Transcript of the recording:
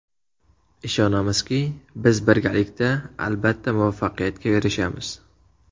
Ishonamizki, biz birgalikda, albatta muvaffaqiyatga erishamiz!